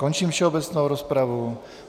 Končím všeobecnou rozpravu.